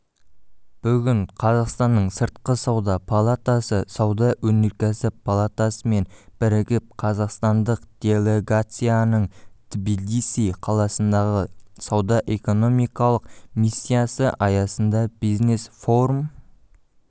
бүгін қазақстанның сыртқы сауда палатасы сауда-өнеркәсіп палатасымен бірігіп қазақстандық делегацияның тбилиси қаласындағы сауда-экономикалық миссиясы аясында бизнес-форум